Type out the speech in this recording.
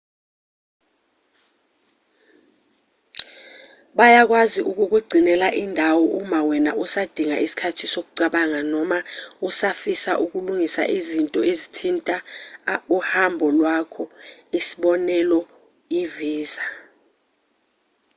bayakwazi ukukugcinela indawo uma wena usadinga isikhathi sokucabanga noma usafisa ukulungisa izinto ezithinta uhambo lwakho isibonelo i-visa